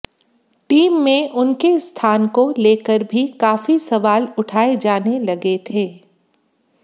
team में उनके स्थान को लेकर भी काफी सवाल उठाए जाने लगे थे